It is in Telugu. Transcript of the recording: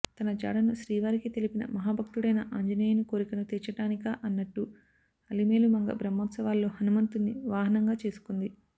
తన జాడను శ్రీవారికి తెలిపిన మహాభక్తుడైన ఆంజనేయుని కోరికను తీర్చడానికా అన్నట్టు అలమేలుమంగ బ్రహ్మోత్సవాలలో హనుమంతున్ని వాహనంగా చేసుకుంది